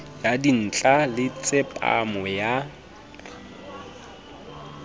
ya dintla le tsepamo ya